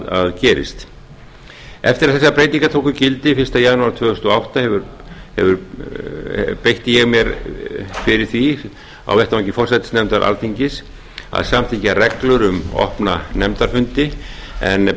að gerist eftir að þessar breytingar tóku gildi fyrsta janúar tvö þúsund og átta beitti ég mér fyrir því á vettvangi forsætisnefndar alþingis að samþykkja reglur um opna nefnda fundi en